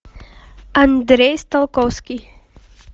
андрей сталковский